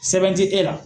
Sɛbɛn tɛ e la